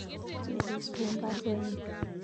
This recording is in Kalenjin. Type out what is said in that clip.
Chebet swen baruenyun